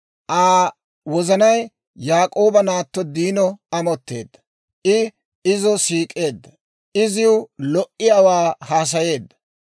Aa wozanay Yaak'ooba naatto Diino amotteedda; I izo siik'eedda; iziw lo"iyaawaa haasayeedda.